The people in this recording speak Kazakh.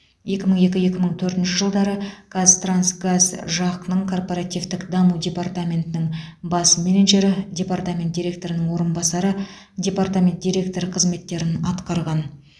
екі мың екі екі мың төртінші жылдары қазтрансгаз жақ ның корпоративтік даму департаментінің бас менеджері департамент директорының орынбасары департамент директоры қызметтерін атқарған